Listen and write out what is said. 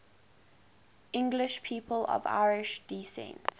english people of irish descent